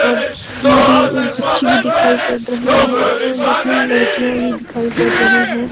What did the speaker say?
दूर मे एक बच्ची भी दिखाई पड रही है और दो तीन लडकियां भी दिखाई पड रही है।